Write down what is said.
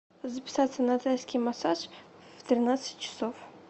записаться на тайский массаж в тринадцать часов